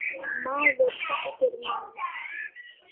Maður þekkir mann.